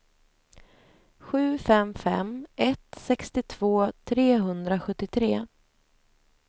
sju fem fem ett sextiotvå trehundrasjuttiotre